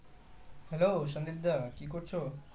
Hello Sandeep দা কি করছো?